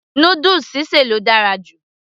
noodles sí sè ló dára jù